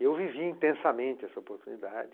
Eu vivi intensamente essa oportunidade.